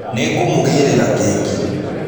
Nĩngũmũgũrĩra keki.